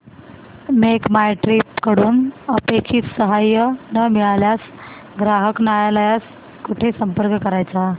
make my trip कडून अपेक्षित सहाय्य न मिळाल्यास ग्राहक न्यायालयास कुठे संपर्क करायचा